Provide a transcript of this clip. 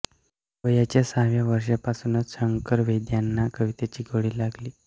वयाच्या सहाव्या वर्षापासूनच शंकर वैद्यांना कवितेची गोडी लागली